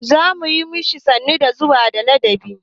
Za mu yi ma shi sannu da zuwa da ladabi.